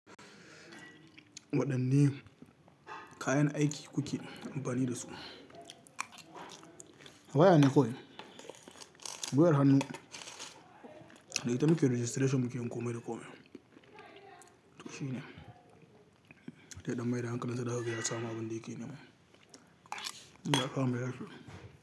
Waɗanne kayan aiki kuke amfani da su? Waya ne kawai, wayar hannu. Da ita muke registration muke yin komai da komai. To shine. Ya ɗan mai da hankali sa zakaga ya samu abin yake nema. In ya samu yasa.